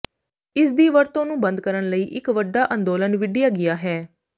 ਇਸ ਦੀ ਵਰਤੋਂ ਨੂੰ ਬੰਦ ਕਰਨ ਲਈ ਇਕ ਵੱਡਾ ਅੰਦੋਲਨ ਵਿੱਢਿਆ ਗਿਆ ਹੈ